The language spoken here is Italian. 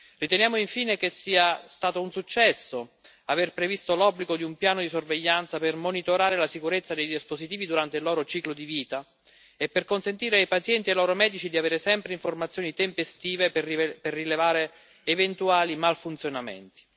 Riteniamo infine che sia stato un successo aver previsto l'obbligo di un piano di sorveglianza per monitorare la sicurezza dei dispositivi durante il loro ciclo di vita e per consentire ai pazienti e ai loro medici di avere sempre informazioni tempestive per rilevare eventuali malfunzionamenti.